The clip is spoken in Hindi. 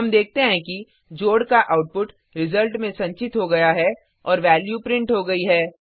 हम देखते हैं कि जोड का आउटपुट रिजल्ट में संचित हो गया है और वैल्यू प्रिंट हो गई है